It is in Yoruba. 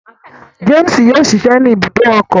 James yóò ṣiṣẹ ni ibùdó ọkọ